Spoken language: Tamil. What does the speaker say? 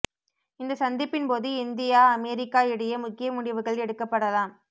இந்த சந்திப்பின் போது இந்தியா அமெரிக்கா இடையே முக்கிய முடிவுகள் எடுக்கப்படலாம்